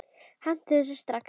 Hentu þessu strax!